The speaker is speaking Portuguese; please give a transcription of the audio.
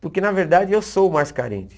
Porque, na verdade, eu sou o mais carente.